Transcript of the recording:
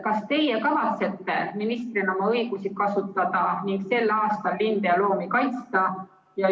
Kas teie kavatsete ministrina oma õigusi kasutada ning sel aastal linde ja loomi kaitsta?